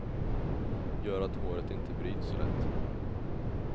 Gör att håret inte bryts så lätt.